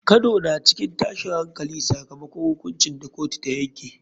Kano na cikin tashin hankali sakamakon hukuncin da kotu ta yanke.